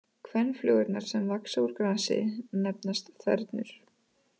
Kvenflugurnar sem vaxa úr grasi nefnast þernur.